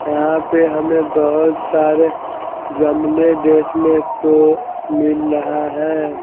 यहां पे हमें बहुत सारे गमले देखने को मिल रहा है।